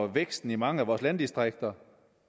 væksten i mange af vores landdistrikter